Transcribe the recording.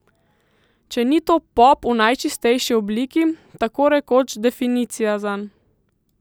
Če ni to pop v najčistejši obliki, tako rekoč definicija zanj.